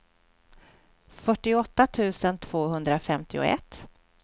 fyrtioåtta tusen tvåhundrafemtioett